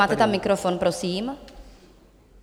Máte tam mikrofon, prosím.